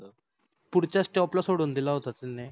पुढच्या stop ला सोडून दिल होत त्यान.